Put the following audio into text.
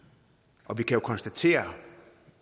og vi kan jo konstatere